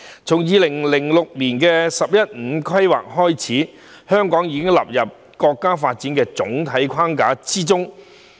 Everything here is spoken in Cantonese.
自2006年的"十一五"規劃開始，香港獲納入國家發展的總體框架。